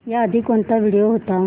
याआधी कोणता व्हिडिओ होता